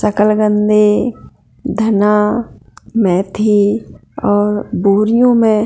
शकलगंदे धना मेथी और बोरिओ में--